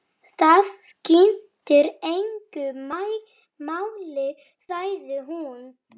Það skiptir engu máli, sagði hún.